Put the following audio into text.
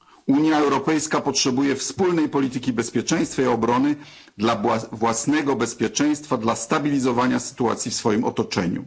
Unia Europejska potrzebuje wspólnej polityki bezpieczeństwa i obrony dla własnego bezpieczeństwa, dla stabilizowania sytuacji w swoim otoczeniu.